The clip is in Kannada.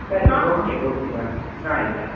Okay okay bye ಆಯ್ತ್ ಆಯ್ತು.